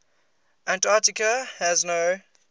antarctica has no